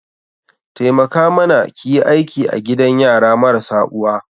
Taimaka mana ki yi aiki a gidan yara marasa uwa